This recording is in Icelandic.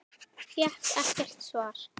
Fékk ekkert svar.